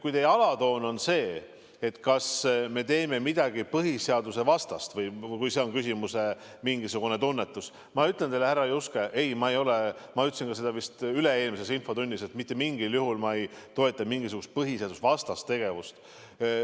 Kui teie alatoon on see, kas me teeme midagi põhiseadusvastast, või kui see on küsimuse mingisugune tunnetus, siis ma ütlen teile, härra Juske, et ei – ma ütlesin seda vist ka üle-eelmises infotunnis –, mitte mingil juhul ei toeta ma mingisugust põhiseadusvastast tegevust.